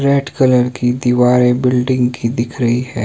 Red colour की दीवारें building की दिख रही है।